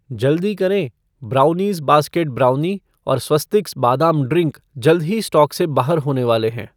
जल्दी करें, brownies basket brownie और स्वस्तिक्स बादाम ड्रिंक जल्द ही स्टॉक से बाहर होने वाले हैं